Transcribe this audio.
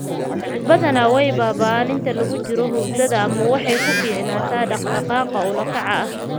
Badanaa way baaba'a inta lagu jiro hurdada ama waxay ku fiicnaataa dhaqdhaqaaq ula kac ah.